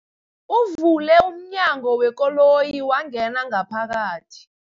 Uvule umnyango wekoloyi wangena ngaphakathi.